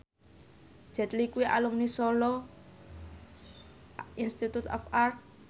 Jet Li kuwi alumni Solo Institute of Art